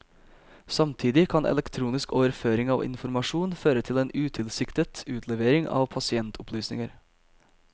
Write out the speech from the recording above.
Samtidig kan elektronisk overføring av informasjon føre til en utilsiktet utlevering av pasientopplysninger.